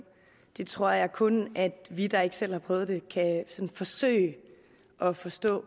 tror jeg kun vi der ikke selv har prøvet det kan forsøge at forstå